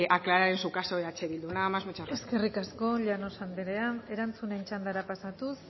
aclarar en su caso eh bildu nada más y muchas gracias eskerrik asko llanos anderea erantzunen txandara pasatuz